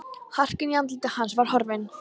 Harkan í andliti hans var horfin.